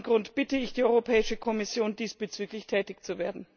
Aus diesem Grund bitte ich die Europäische Kommission, diesbezüglich tätig zu werden.